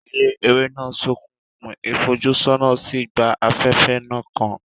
Ilé eré náà ṣókùnkùn, ìfojúsọ́nà sì gba afẹ́fẹ́ náà kan.